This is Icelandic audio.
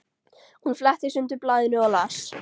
Hún fletti sundur blaðinu og las